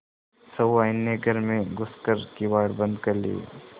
सहुआइन ने घर में घुस कर किवाड़ बंद कर लिये